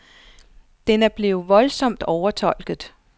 Den er blevet voldsomt overtolket.